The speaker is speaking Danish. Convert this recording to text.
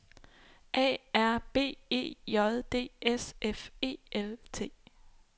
A R B E J D S F E L T